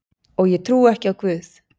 Og ég trúi ekki á guð.